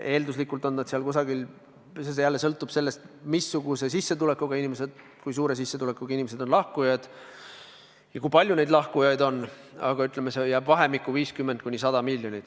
Eelduslikult jääb see summa – see sõltub sellest, missuguse sissetulekuga inimesed lahkuvad ja kui palju neid lahkujaid on – vahemikku 50–100 miljonit.